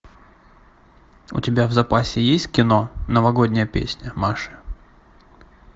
у тебя в запасе есть кино новогодняя песня маши